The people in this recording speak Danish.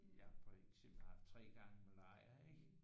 Jeg for eksempel har haft 3 gange malaria ik